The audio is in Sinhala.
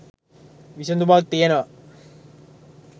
විසදුමක් තියෙනවා